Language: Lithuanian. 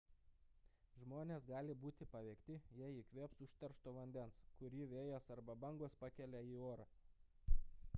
žmonės gali būti paveikti jei įkvėps užteršto vandens kurį vėjas arba bangos pakelia į orą